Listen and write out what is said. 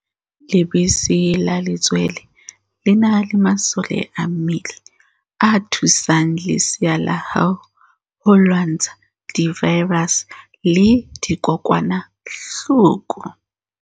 Lebese la letswele le na le masole a mmele a thusang lesea la hao ho lwantsha divaerase le dikokwanahloko.